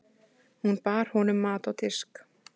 Hún bar honum mat á disk.